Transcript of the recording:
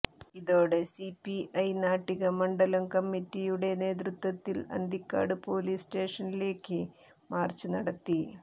ഇതോടെ സിപിഐ നാട്ടിക മണ്ഡലം കമ്മിറ്റിയുടെ നേതൃത്വത്തിൽ അന്തിക്കാട് പൊലീസ് സ്റ്റേഷനിലേക്ക് മാർച്ച് നടത്തി